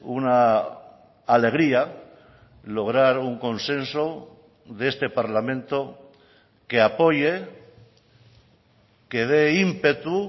una alegría lograr un consenso de este parlamento que apoye que dé ímpetu